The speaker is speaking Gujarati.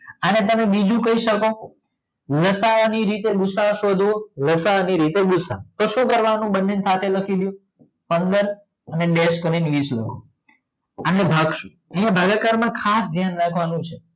આને તમે બીજું કાય સકો લસાઅ ની રીતે ગુસઅ સોધી સકો લસાઅ ની રીતે ગૂસાઅ તો શું કરવાનું બને ને સાથે લખી દયો પંદર અને ડેસ્ક કરીન વીસ એના ભાગશું અન્ય ભાગાકાર માં ખાસ ધ્યાન રાખવાનું છે